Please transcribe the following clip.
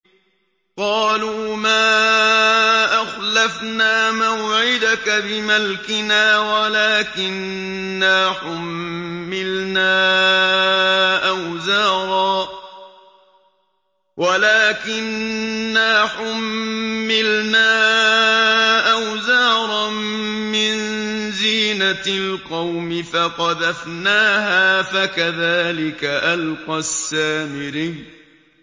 قَالُوا مَا أَخْلَفْنَا مَوْعِدَكَ بِمَلْكِنَا وَلَٰكِنَّا حُمِّلْنَا أَوْزَارًا مِّن زِينَةِ الْقَوْمِ فَقَذَفْنَاهَا فَكَذَٰلِكَ أَلْقَى السَّامِرِيُّ